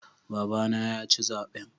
Babana yaci zaɓen.